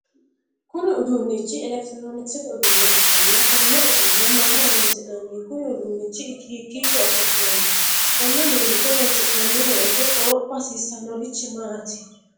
Kunni uduunichi elekitiroonikisete uduune ikanna konne uduune maaho horoonsi'nanni? Kunni uduunichi hikiicho afi'nanni? Konne uduunicho horoonsi'nanni woyite qoropha hasiisanorichi maati?